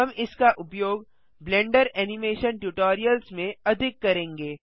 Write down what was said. हम इसका उपयोग ब्लेंडर एनिमेशन ट्यूटोरियल्स में अधिक करेंगे